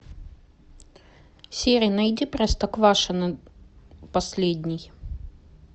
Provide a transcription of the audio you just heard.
сири найди простоквашино последний